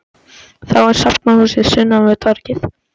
Þá er safnahúsið sunnan við torgið.